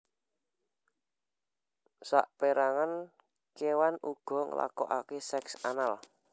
Sapérangan kéwan uga nglakokaké seks anal